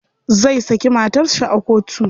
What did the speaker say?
Zai saki matar shi a kotu.